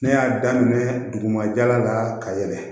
Ne y'a daminɛ duguma jala la ka yɛlɛ